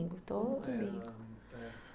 todo domingo